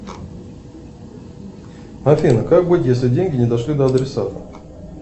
афина как быть если деньги не дошли до адресата